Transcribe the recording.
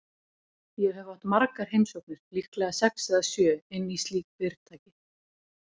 Ég hef átt margar heimsóknir, líklega sex eða sjö, inn í slík fyrirtæki.